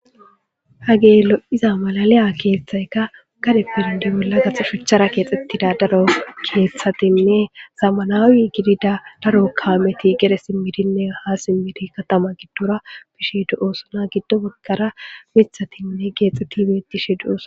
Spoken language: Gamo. Hagey lo'iya malaliya keththaykka gadeppe bolla gaso shuchara kexetida keththatinne zamanawe gidida daro kameti gede simidinne ha simidi katama giddorabishe de'osonna. Giddo bagara miththati kexetid bishe de'osonna.